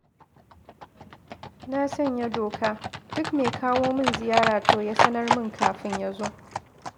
Na sanya doka, duk mai kawo min ziyara to ya sanar min kafin ya zo